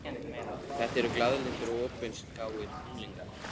Þetta eru glaðlyndir og opinskáir unglingar.